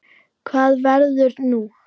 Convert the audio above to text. Hvað verður nú?